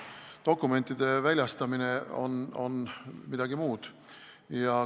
Dokumentide väljastamine on midagi muud.